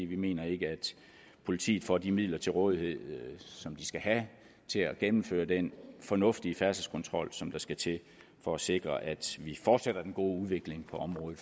vi mener ikke at politiet får de midler til rådighed som de skal have til at gennemføre den fornuftige færdselskontrol som der skal til for at sikre at vi fortsætter den gode udvikling på området